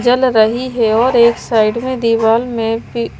जल रही है और एक साइड में दीवाल में भी --